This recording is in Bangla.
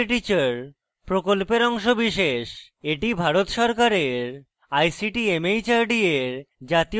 এটি ভারত সরকারের ict mhrd এর জাতীয় শিক্ষা mission দ্বারা সমর্থিত